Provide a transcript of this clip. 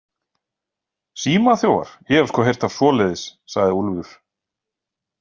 Símaþjófar, ég hef sko heyrt af svoleiðis, sagði Úlfur.